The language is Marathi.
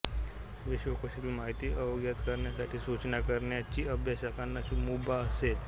विश्वकोशातील माहिती अद्ययावत करण्यासाठी सूचना करण्याची अभ्यासकांना मुभा असेल